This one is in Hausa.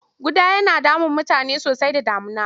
Ƙuda yana damun mutane sosai da damuna.